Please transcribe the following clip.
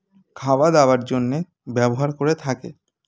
খাওয়া দাওয়ার জন্যে ব্যবহার করে থাকে